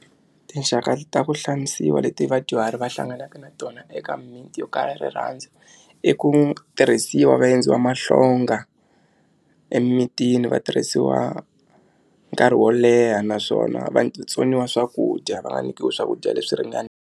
Tinxaka ta ku xanisiwa leti vadyuhari va hlanganaka na tona eka mimiti yo kala rirhandzu i ku tirhisiwa va endliwa mahlonga emimitini va tirhisiwa nkarhi wo leha naswona vatsoniwa swakudya va nga nyikiwi swakudya leswi .